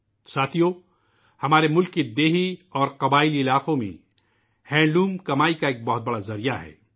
ساتھیو ، ہمارے ملک کے دیہی اور قبائلی علاقوں میں ہینڈ لوم کمائی کا ایک بہت بڑا وسیلہ ہے